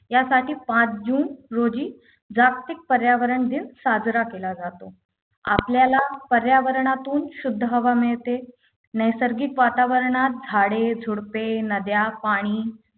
यासाठी पाच जून रोजी जागतिक पर्यावरण दिन साजरा केला जातो आपल्याला पर्यावरणातून शुद्ध हवा मिळते नैसर्गिक वातावरणात झाडे झुडपे नद्या पाणी